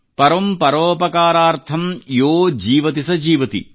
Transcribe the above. ಪರಮ್ ಪರೋಪಕಾರಾರ್ಥಂ ಯೋ ಜೀವತಿ ಸ ಜೀವತಿ